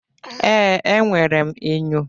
Ee, enwere m enyo.